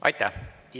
Aitäh!